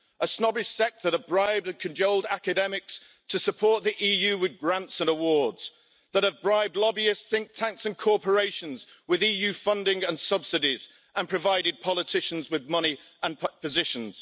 A snobbish sect that have bribed and cajoled academics to support the EU with grants and awards, that have bribed lobbyist think tanks and corporations with EU funding and subsidies and provided politicians with money and positions.